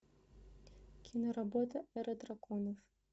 киноработа эра драконов